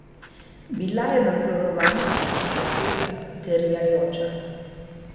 Bila je nadzorovana, zapeta, terjajoča.